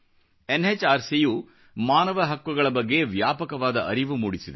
NHRC ಯು ಮಾನವ ಹಕ್ಕುಗಳ ಬಗ್ಗೆ ವ್ಯಾಪಕವಾದ ಅರಿವು ಮೂಡಿಸಿದೆ